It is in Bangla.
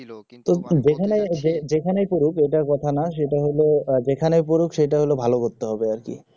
যেখানেই যেখানেই পড়ুক ঐটা কথা না সেটা হল যেখানেই পড়ুক সেটা হল ভাল করতে হবে আরকি